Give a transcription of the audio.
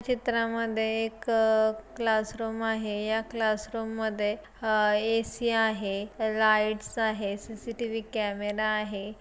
चित्रामध्ये एक क्लासरूम आहे या क्लासरूम मध्ये हा ए.सी. आहे लाईट आहे सी.सी.टी.वी. कॅमेरा आहे.